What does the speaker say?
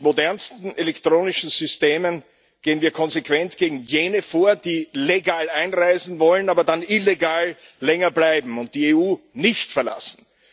Mit modernsten elektronischen Systemen gehen wir konsequent gegen jene vor, die legal einreisen wollen, aber dann illegal länger bleiben und die EU nicht verlassen.